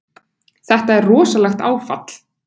Þetta er rosalegt áfall!